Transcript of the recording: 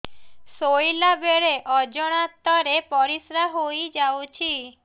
ଶୋଇଲା ବେଳେ ଅଜାଣତ ରେ ପରିସ୍ରା ହେଇଯାଉଛି